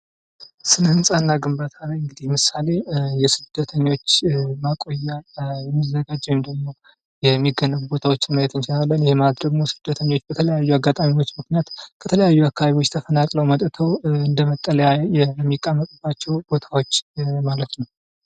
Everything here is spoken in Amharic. ስነ ህንጻ እና ግንባታ ምሳሌ የስደተኞች ማቆያ ተብሎ የሚዘጋጅ ወይንም ደግሞ የሚገነቢ ቦታዎችን ማየት እንችላለን ማለትም ስደተኞች በተለያየ ምክንያት ከተለያዩ ተፈናቅለው መጥተው እንደ መጠለያ የሚቀመጡባቸው ቦታዎች ማለት ነው።